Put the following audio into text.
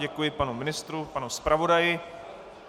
Děkuji panu ministru, panu zpravodaji.